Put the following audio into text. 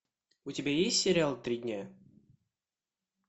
у тебя есть сериал три дня